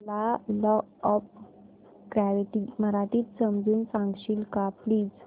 मला law of gravity मराठीत समजून सांगशील का प्लीज